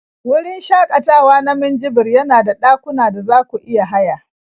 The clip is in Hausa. Wurin shakatawa na Minjibir yana da dakuna da za ku iya haya